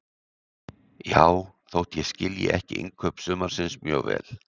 Já, þótt ég skilji ekki innkaup sumarsins mjög vel.